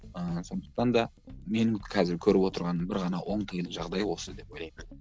ыыы сондықтан да менің қазір көріп отырған бір ғана оңтайлы жағдай осы деп ойлаймын